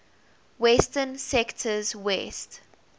western sectors west